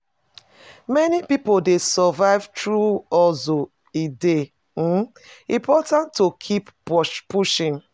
Many pipo dey survive through hustle; e dey um important to keep pushing.